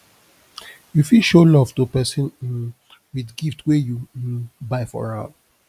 you fit show love to persin um with gift wey you um buy for am